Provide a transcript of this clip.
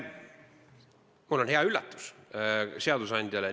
Mul on hea üllatus seadusandjale.